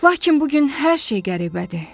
Lakin bu gün hər şey qəribədir.